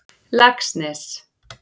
Laxnesi